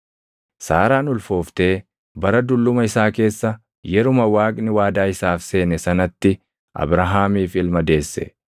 Saaraan ulfooftee bara dulluma isaa keessa yeruma Waaqni waadaa isaaf seene sanatti Abrahaamiif ilma deesse.